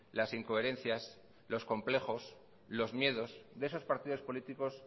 las incoherencias los complejos los miedos de esos partidos políticos